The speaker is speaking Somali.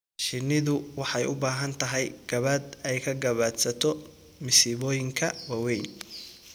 Shinnidu waxay u baahan tahay gabaad ay ka gabaadsato masiibooyinka waaweyn.